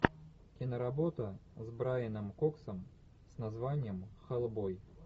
киноработа с брайаном коксом с названием хеллбой